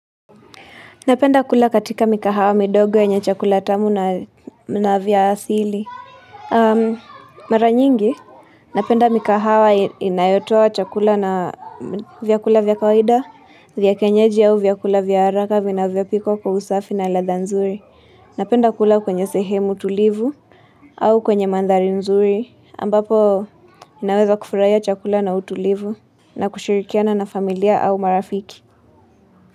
Napenda kula katika mikahawa midogo yenye chakula tamu na vya asili. Mara nyingi, napenda mikahawa inayotuoa chakula na vyakula vya kawaida, vyakienyeji au vyakula vya haraka vinavyopikwa kwa usafi na ladha nzuri. Napenda kula kwenye sehemu tulivu au kwenye mandhari nzuri, ambapo ninaweza kufurahia chakula na utulivu na kushirikiana na familia au marafiki.